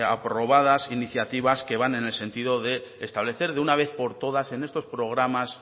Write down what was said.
aprobadas iniciativas que van en el sentido de establecer de una vez por todas en estos programas